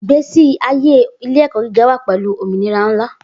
Igbesi aye ile-ẹkọ giga wa pẹlu ominira nla